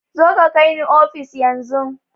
Zoka ka kai ni ofis yan zun